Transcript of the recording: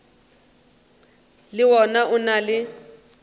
le wona o na le